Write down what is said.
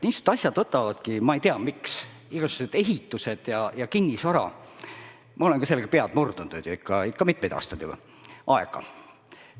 Niisugused asjad võtavadki – ma ei tea, miks, aga igasugused ehitused ja kinnisvara, ma olen ka selle kallal pead murdnud, miks – ikka mitmeid aastaid aega.